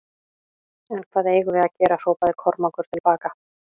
En hvað eigum við að gera hrópaði Kormákur til baka.